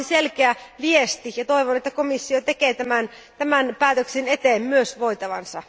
Tämä olisi selkeä viesti, ja toivon, että komissio tekee tämän päätöksen eteen myös voitavansa.